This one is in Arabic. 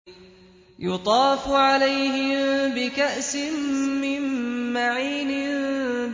يُطَافُ عَلَيْهِم بِكَأْسٍ مِّن مَّعِينٍ